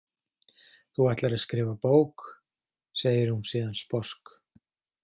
Þú ætlar að skrifa bók, segir hún síðan sposk.